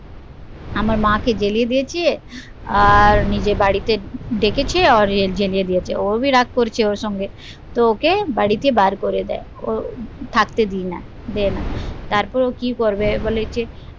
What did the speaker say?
আমার মা কে জ্বলিয়ে দিয়েছে, আর নিজের বাড়িতে ডেকেছে জ্বলিয়ে দিয়েছে ও ভি রাগ করছে ওর সাথে তো ওকে বাড়িতে বার করে দেয় ও থাকতে দি না দেয় না তারপর ও কি করবে